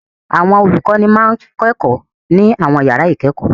Àwọn olùkọ́ní máa ń kọ́ ẹ̀kọ́ ní àwọn ìyàrá-ìkẹ́kọ̀ọ́.